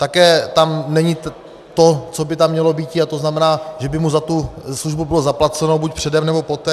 Také tam není to, co by tam mělo být, a to znamená, že by mu za tu službu bylo zaplaceno buď předem, nebo poté.